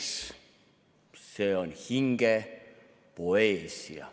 Mets – see on hinge poeesia.